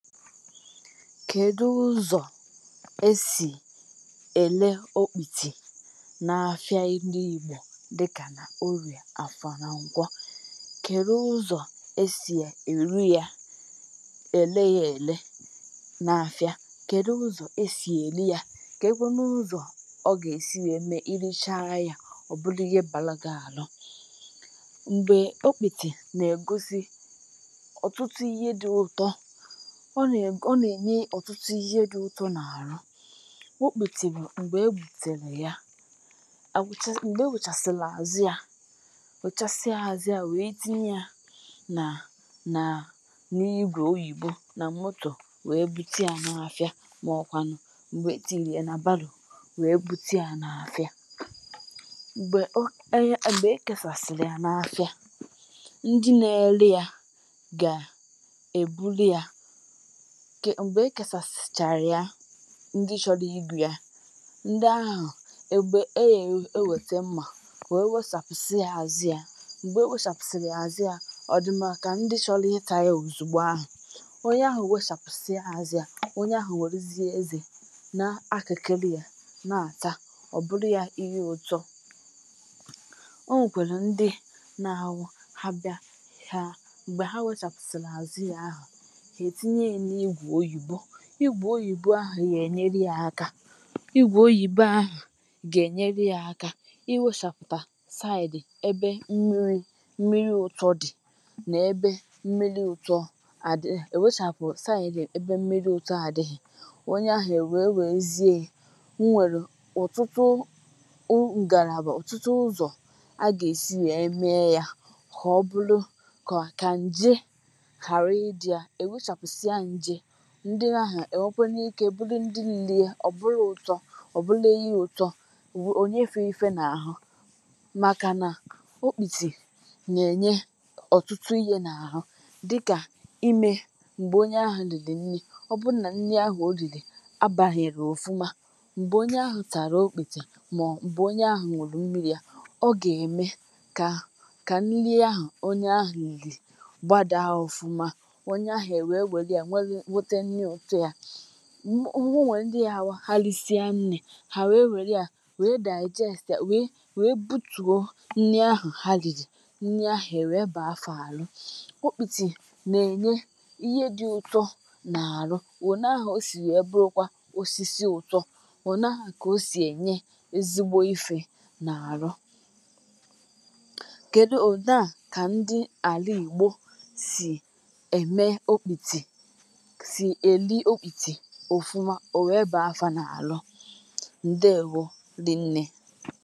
Kèdu ụzọ esì èle okputì na-afịa ndị Igbo dịkà na oria, afọ nà nkwọ? Kèdu ụzọ esì èru ya, èle ya èle na-afịa? Kèdu ụzọ esì èri ya? Ke kwenu ụzọ ọ gà-èsi wee ème irichaa ya, ọ bụlụ ihe bàlụ gị ànụ? Mgbè okputì nà-ègosi ọ̀tụtụ ihe dị ụtọ; ọ nà, ọ nà-enye ọ̀tụtụ ihe dị ụtọ n’àrụ. Okputì bụ m̀gbè egbùtèrè ya àwụcha, m̀gbè ị wùchasịlị àzụ a, àwụchasịa àzụ a wèe tinye ya nà nà n’igwè oyìbo nà motò wèe buti ya na-afịa mà ọkwànụ m̀gbè e tinyire a nà bàlụ wèe buti ya n’afịa, m̀gbè o e, m̀gbè ekesàsịrị ya n’afịa, ndị na-ele ya gà-èbulie ya kè, m̀gbè e kèsàsìchàrà ya. Ndị chọri ịgu ya, ndị ahụ egbè eghè ewète mmà wee wèsàpụsị a àzụ ya, mgbè e wèsàpụsịrị àzụ ya, ọ dị ma kà ndị chọli ità ya òzùgbo ahụ. Onye ahụ wechàpụsị a àzụ a; onye ahụ wèrizie ezè na-akịkịlị ya na-àta. Ọ bụrụ ya ihe ụtọ; o nwèkwèlù ndị na-ahụ ha bịa ha, m̀gbè ha wèchàpụsịrị àzụ ya, ha etinye ya n'igwè oyìbo ahụ gà-ènyere ya aka; igwè oyìbo ahụ gà-ènyere ya aka iwèchàpụta saịdị ebe mmiri, mmiri ụtọ dị nà-ebe mmiri ụtọ àdịghị. È wechàpụ saịdị ebe mmiri ụtọ àdịghị, onye ahụ è wèe wèruzie ya, nwèrè ọtụtụ ngàràbà, ọtụtụ ụzọ a gà-èsi nwèe mee ya kà ọ bụrụ kà kà nje ghàrà ị dị à, e nwechàpụsịa nje, ndị ahụ ènwekwenụ ike bulu ndị lịlie. Ọ bụlụ ụtọ; ọ bulu ihe ụtọ, ònye fie ife n’àhụ màkà nà okputì nà-enye ọ̀tụtụ ihe n’àhụ dịkà imè m̀gbè onye ahụ rìri nni, ọ bụ nà nni ahụ o rìrì abàghịrị ofuma, m̀gbè onye ahụ tàrà okputì mà ọ m̀gbè onye ahụ hụrụ mmìrì à, ọ gà-ème kà kà nnị ahụ onye ahụ riri gbàdàa ofuma. Onye ahụ enwè were a weru, wete nni ụtọ a, um ọ wee ndị yawụ ha lìsie nni, hà wèe wèrè ya wèe digest wèe wèe butùo nni ahụ ha rìrì, nnị ahụ èwè baa fa alụ Okputì nà-enye ihe dị ụtọ nà àrụ. Ò na-ahụ o sì wee bụrụ kwa osisi ụtọ, ò na-ahụ kà o sì enye ezigbo ife nà-àrụ. Kedu, ọ na kà ndị àlà Igbo sì ème okputì, si eri okputi òfuma, onwe baa fà n’àlụ. Ndewo dị nne.